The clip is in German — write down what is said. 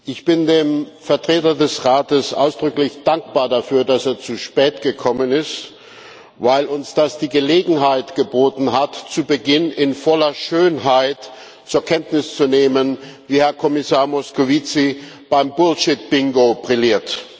Ich bin dem Vertreter des Rates ausdrücklich dankbar dafür, dass er zu spät gekommen ist, weil uns das die Gelegenheit geboten hat, zu Beginn in voller Schönheit zur Kenntnis zu nehmen, wie Herr Kommissar Moscovici beim Bullshit Bingo brilliert.